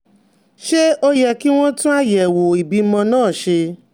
Ṣé ó yẹ kí wọ́n tún àyẹ̀wò ìbímọ náà ṣe?